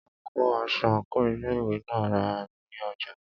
A kò rí aṣọ àńkò ilé ìwé náà rà ní ọjà.